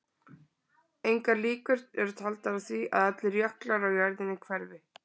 Engar líkur eru taldar á því að allir jöklar á jörðinni hverfi.